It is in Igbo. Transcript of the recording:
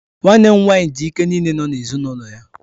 Nwanne m nwaanyị ji ike niile na ezinụlọ ya.